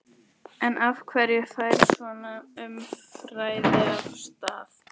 En af hverju fer svona umræða af stað?